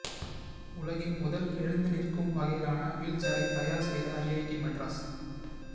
உலகின் முதல் எழுந்து நிற்கும் வகையிலான வீல்சேரை தயார் செய்த ஐஐடி மெட்ராஸ்